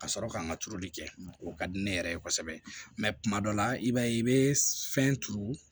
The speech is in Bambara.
Ka sɔrɔ ka n ka turuli kɛ o ka di ne yɛrɛ ye kosɛbɛ mɛ kuma dɔ la i b'a ye i bɛ fɛn turu